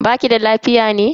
Baki da lafiya ne?